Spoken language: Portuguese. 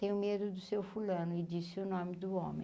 Tenho medo do Seu fulano e disse o nome do homem.